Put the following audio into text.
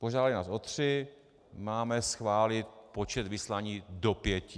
Požádali nás o tři, máme schválit počet vyslání do pěti.